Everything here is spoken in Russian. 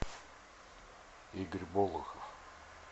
игорь болухов